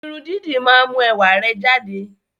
Irun dídì máa ń mú ẹwà rẹ jáde